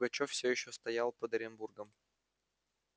пугачёв всё ещё стоял под оренбургом